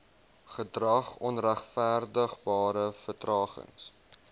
gedrag onregverdigbare vertragings